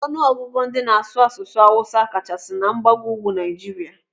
Ọnụ ọgụgụ ndị n'asụ asụsụ awụsa kachasị na mgbago ugwu Naijiria.